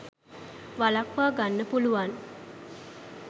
වලක්ව ගන්න පුළුවන්.